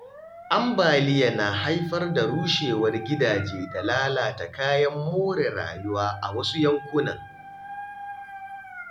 Ambaliya na haifar da rushewar gidaje da lalata kayan more rayuwa a wasu yankunan.